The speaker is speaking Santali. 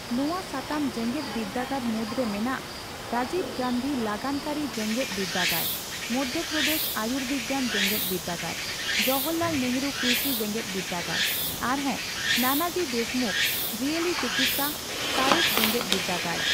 ᱱᱚᱣᱟ ᱥᱟᱛᱟᱢ ᱡᱮᱜᱮᱫᱵᱤᱨᱫᱟᱹᱜᱟᱲ ᱢᱩᱫᱨᱮ ᱢᱮᱱᱟᱜ ᱨᱟᱡᱤᱵ ᱜᱟᱱᱫᱷᱤ ᱞᱟᱜᱟᱱ ᱠᱟᱹᱨᱤ ᱡᱮᱜᱮᱫᱵᱤᱨᱫᱟᱹᱜᱟᱲ, ᱢᱚᱫᱷᱚᱯᱨᱚᱫᱮᱥ ᱟᱹᱭᱩᱨᱵᱤᱜᱱᱟᱱ ᱡᱮᱜᱮᱫᱵᱤᱨᱫᱟᱹᱜᱟᱲ, ᱡᱚᱦᱚᱨᱞᱟᱞ ᱱᱮᱦᱨᱩ ᱠᱨᱤᱥᱤ ᱡᱮᱜᱮᱫᱵᱤᱨᱫᱟᱹᱜᱟᱲ ᱟᱨᱦᱚᱸ ᱱᱟᱱᱟᱡᱤ ᱫᱮᱥᱢᱩᱠᱷ ᱡᱤᱭᱟᱹᱞᱤ ᱪᱤᱠᱤᱫᱽᱥᱟ ᱥᱟᱸᱲᱮᱥ ᱡᱮᱜᱮᱫᱵᱤᱨᱫᱟᱹᱜᱟᱲ᱾